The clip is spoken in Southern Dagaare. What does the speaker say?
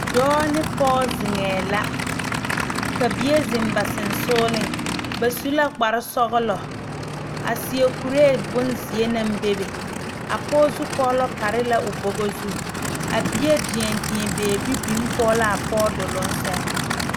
Dɔɔ ne pɔge zeŋee la ka bie zeŋ ba sonsogle ba su la kpare sɔglɔ a seɛ kuri bonziɛ naŋ bebe a pɔge zukɔlo pare la o boga zu a bie deɛdeɛ beebe biŋ kɔŋ laa pɔge doloŋ seŋ.